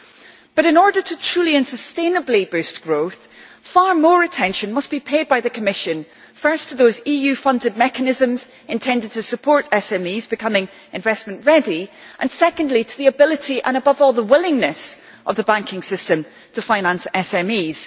However, in order to truly and sustainably boost growth, far more attention must be paid by the Commission firstly to those EU funded mechanisms intended to support SMEs becoming investment ready and, secondly, to the ability and, above all, the willingness of the banking system to finance SMEs.